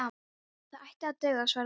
Það ætti að duga, svaraði Jói.